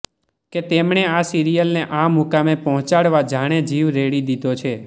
કે તેમણે આ સિરિયલને આ મુકામે પહોંચાડવા જાણે જીવ રેડી દીધો છે